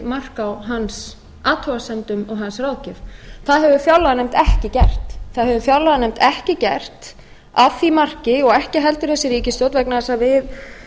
mark á hans athugasemdum og hans ráðgjöf það hefur fjárlaganefnd ekki gert að því marki og ekki heldur þessi ríkisstjórn og ég